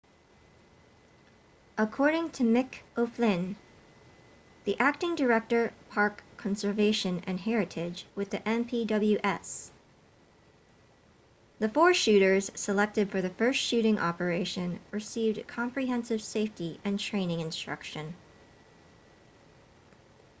according to mick o'flynn the acting director park conservation and heritage with the npws the four shooters selected for the first shooting operation received comprehensive safety and training instruction